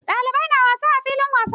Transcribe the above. Ɗalibai na wasa a filin wasa.